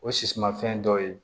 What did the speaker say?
O sisimafɛn dɔ ye